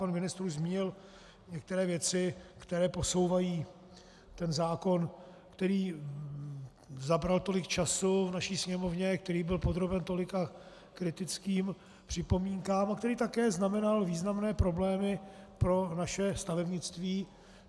Pan ministr už zmínil některé věci, které posouvají ten zákon, který zabral tolik času v naší Sněmovně, který byl podroben tolika kritickým připomínkám a který také znamenal významné problémy pro naše stavebnictví.